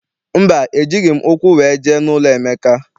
Mba, ejighị m ụkwụ wee jee n'ụlọ Emeka.